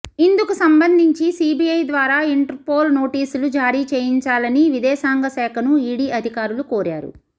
ఇందుకు సంబంధించి సిబిఐ ద్వారా ఇంటర్పోల్ నోటీసులు జారీచేయించాలని విదేశాంగ శాఖను ఇడి అధికారులు కోరారు